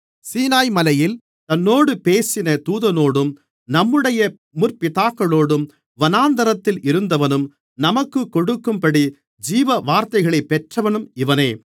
சீனாய்மலையில் தன்னோடு பேசின தூதனோடும் நம்முடைய முற்பிதாக்களோடும் வனாந்திரத்தில் இருந்தவனும் நமக்குக் கொடுக்கும்படி ஜீவவார்த்தைகளைப் பெற்றவனும் இவனே